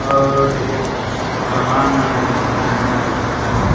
और ए जग सामान बहुत बढ़िया-बढ़िया दिखत आहय।